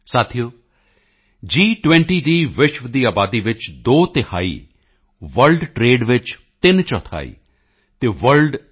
ਸਾਥੀਓ ਜੀ20 ਦੀ ਵਿਸ਼ਵ ਦੀ ਆਬਾਦੀ ਵਿੱਚ ਦੋ ਤਿਹਾਈ ਵਰਲਡ ਟ੍ਰੇਡ ਵਿੱਚ 3 ਚੌਥਾਈ ਅਤੇ ਵਰਲਡ ਜੀ